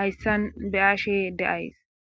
hayssan beyashe deays